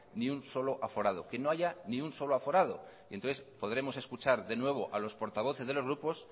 ni un solo aforado que no haya ni un solo aforado entonces podremos escuchar de nuevo a los portavoces de los grupos